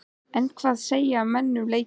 En hvað segja menn um leikinn?